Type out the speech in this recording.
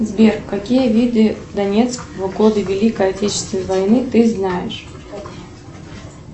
сбер какие виды донецк в годы великой отечественной войны ты знаешь